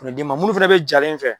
ma minnu fana bɛ jalen fɛ